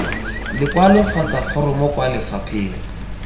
lekwalo kgotsa foromo kwa lefapheng